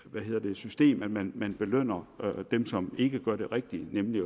system at man belønner dem som ikke gør det rigtige nemlig